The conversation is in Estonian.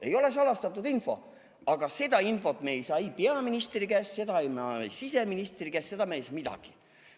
Ei ole salastatud info, aga seda infot me ei saa ei peaministri käest, seda me ei saa siseministri käest, seda me ei saa kusagilt.